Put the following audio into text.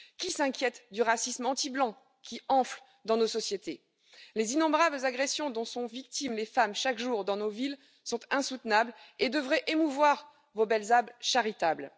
Qui s'inquiète du racisme anti blanc qui enfle dans nos sociétés? Les innombrables agressions dont sont victimes les femmes chaque jour dans nos villes sont insoutenables et devraient émouvoir vos belles âmes charitables.